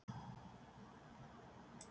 Kristján: Hvernig líður fólkinu þínu?